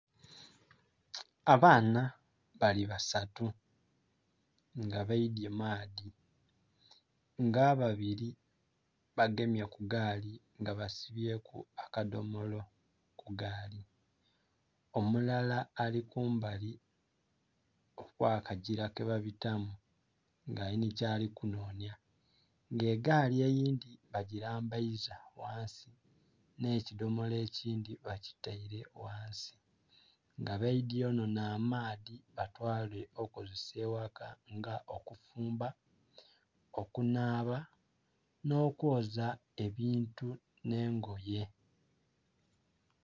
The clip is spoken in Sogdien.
Abaana bali basatu nga baidhye maadhi nga ababili bagemye ku gaali nga basibyeku akadhomolo ku gaali, omulala ali kumbali okw'akagila ke babitamu nga alinha kyali kunhonhya. Nga egaali eyindhi bagilambaiza ghansi nhe kidhomolo ekindhi bakitaile ghansi. Nga baidhye okunhona amaadhi batwaale okukozesa eghaka nga okufumba, okunhaaba nh'okwoza ebintu nh'engoye.